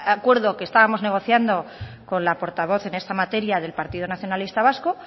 acuerdo que estábamos negociando con la portavoz en esta materia del partido nacionalista vasco